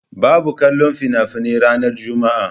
Babu kallon fina-finai ranar Juma'a.